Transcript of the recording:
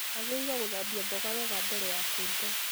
Wagĩrĩirwo gũthambia mboga wega mbele wa kũruga